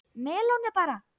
Melónur bara!